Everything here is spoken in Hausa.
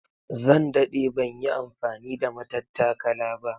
Zan dade ban yi amfani da matattakala ba